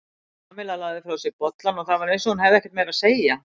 Kamilla lagði frá sér bollann og það var eins hún hefði ekkert meira að segja.